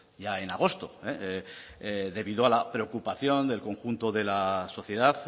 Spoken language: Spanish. ya en agosto debido a la preocupación del conjunto de la sociedad